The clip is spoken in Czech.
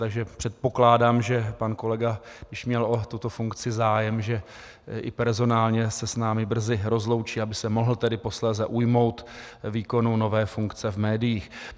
Takže předpokládám, že pan kolega, když měl o tuto funkci zájem, že i personálně se s námi brzy rozloučí, aby se mohl tedy posléze ujmout výkonu nové funkce v médiích.